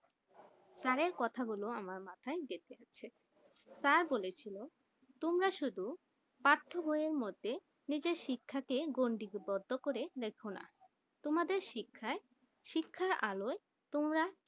sir এই কথা গুলো আমার মাথাই গেথে আছে স্যার বলে ছিল তোমরা শুধু পাঠ্য বই এই মধ্যে নিজের শিক্ষাকে গন্ডি বড্ড করে রেখনা তোমাদের শিক্ষায় শিক্ষায় আলোয় তোমরা